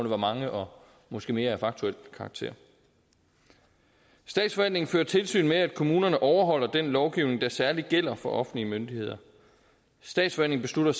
var mange og måske mere af faktuel karakter statsforvaltningen fører tilsyn med at kommunerne overholder den lovgivning der særligt gælder for offentlige myndigheder statsforvaltningen